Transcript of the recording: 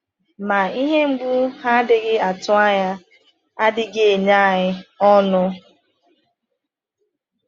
“Ma ihe mgbu ha na-adịghị atụ anya adịghị enye anyị ọṅụ.”